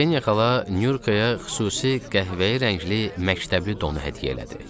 Kseniya xala Nyurkaya xüsusi qəhvəyi rəngli məktəbli donu hədiyyə elədi.